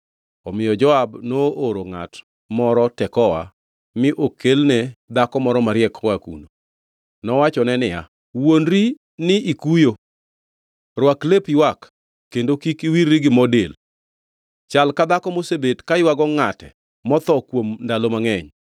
Omiyo Joab nooro ngʼat moro Tekoa mi okelne dhako moro mariek koa kuno. Nowachone niya, “Wuondri ni ikuyo. Rwak lep ywak kendo kik iwirri gi mo del. Chal ka dhako mosebet ka ywago ngʼate motho kuom ndalo mangʼeny.